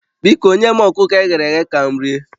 Biko nye m ọkụkọ e ghere eghe ka m rie